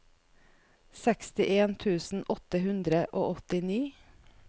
sekstien tusen åtte hundre og åttini